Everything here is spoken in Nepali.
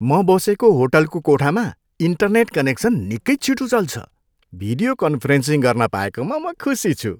म बसेको होटलको कोठामा इन्टरनेट कनेक्सन निकै छिटो चल्छ। भिडियो कन्फरेन्सिङ गर्न पाएकोमा म खुसी छु।